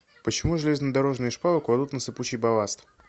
почему железнодорожные шпалы кладут на сыпучий балласт